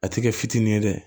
A ti kɛ fitinin ye dɛ